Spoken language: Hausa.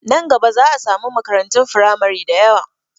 Nan gaba za a samu makarantun firamari dayawa